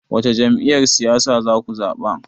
Wace Jam'iyyar siyasa zaku zaɓa?